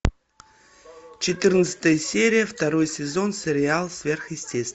четырнадцатая серия второй сезон сериал сверхъестественное